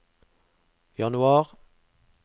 januar